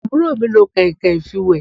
Àbúrò mi lo kànìnkànìn fi wé